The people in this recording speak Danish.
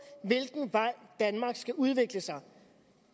hvilken vej danmark skal udvikle sig